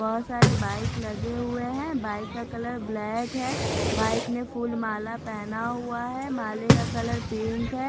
बहुत सारे बाइक लगे हुए हैं बाइक का कलर ब्लैक है बाइक ने फूल माला पहना हुआ है माले का कलर पिंक है।